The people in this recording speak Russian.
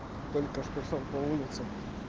только что сам по улице